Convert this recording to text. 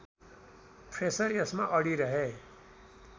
Fraser यसमा अडिरहे